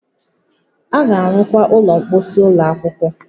A ga-arụkwa ụlọ mposi ụlọ akwụkwọ